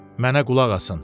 Mənə qulaq asın.